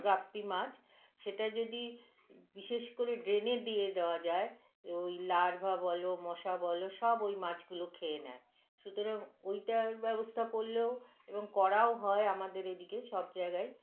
গাপ্পি মাছ সেটা যদি বিশেষ করে drain -এ দিয়ে দেওয়া যায় ঐ larva বলো মশা বলো সব ঐ মাছগুলো খেয়ে নেয় সুতরাং ঐটার ব্যবস্থা করলেও এবং করাও হয় আমাদের এদিকে সব জায়গায়